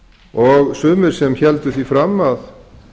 og sumir sem héldu því fram að